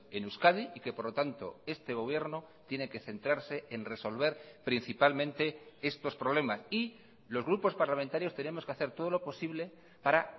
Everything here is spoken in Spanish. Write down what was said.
en euskadi y que por lo tanto este gobierno tiene que centrarse en resolver principalmente estos problemas y los grupos parlamentarios tenemos que hacer todo lo posible para